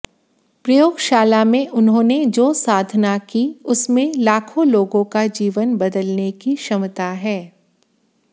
प्रयोगशाला में उन्होंने जो साधना की उसमें लाखों लोगों का जीवन बदलने की क्षमता है